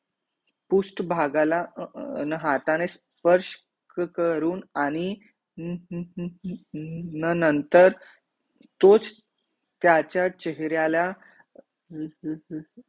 पुष्ट भागाला अं हाताने स्पर्श करून आणि नंतर तोच त्याच्या चेहऱ्याला ल ल ल ल